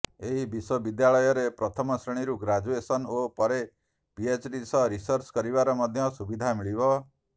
ଏହି ବିଶ୍ବବିଦ୍ୟାଳୟରେ ପ୍ରଥମ ଶ୍ରେଣୀରୁ ଗ୍ରାଜୁଏସନ୍ ଓ ପରେ ପିଏଚ୍ଡି ସହ ରିସର୍ଚ କରିବାର ମଧ୍ୟ ସୁବିଧା ମିଳିବ